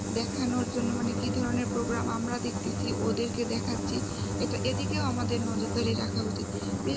দেখানোর জন্য মানে কি ধরনের program আমরা দেখতেছি ওদের কে দেখাচ্ছি এটা এদিকেও আমাদের নজরদারি রাখা উচিত